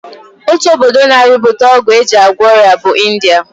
Otu obodo na-arụpụta ọgwụ e ji agwọ ọrịa bụ India